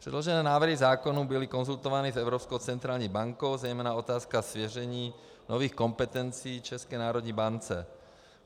Předložené návrhy zákonů byly konzultovány s Evropskou centrální bankou, zejména otázka svěření nových kompetencí České národní bance.